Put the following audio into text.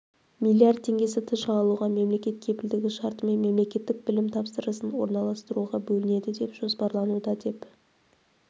млрд теңгесі тж алуға мемлекет кепілдігі шартымен мемлекеттік білім тапсырысын орналастыруға бөлінеді деп жоспарлануда деп